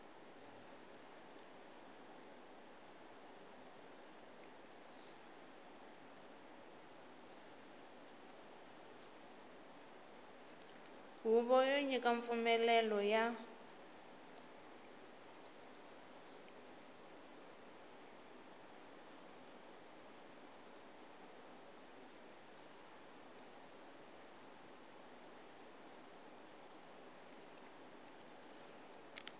huvo yo nyika mpfumlelelo ya